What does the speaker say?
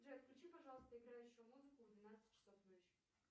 джой включи пожалуйста играющую музыку в двенадцать часов ночи